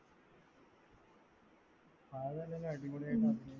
അടിപൊളിയായിട്ട് അഭിനയിക്കും